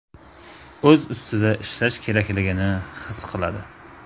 O‘z ustida ishlash kerakligini his qiladi.